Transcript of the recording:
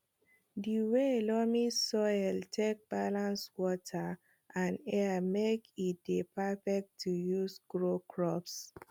di way loamy soil take balance water and air make e dey perfect to use grow crops